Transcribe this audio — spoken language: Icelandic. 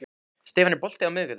Stefán, er bolti á miðvikudaginn?